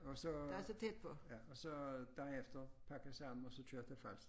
Og så øh ja og så dagen efter pakke sammen og så køre til falster